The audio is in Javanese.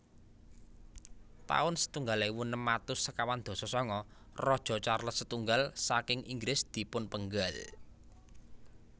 taun setunggal ewu enem atus sekawan dasa sanga Raja Charles setunggal saking Inggris dipunpenggal